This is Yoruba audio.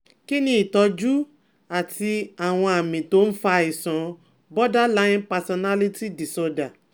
Kí ni ìtọ́jú àti àwọn àmì tó ń fa àìsàn borderline personality disorder